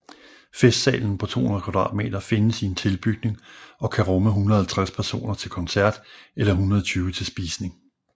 Festsalen på 200 m² findes i en tilbygning og kan rumme 150 personer til koncert eller 120 til spisning